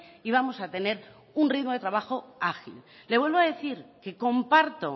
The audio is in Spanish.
y vamos a tener un ritmo de trabajo ágil le vuelvo a decir que comparto